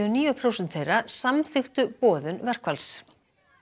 og níu prósent þeirra samþykktu boðun verkfalls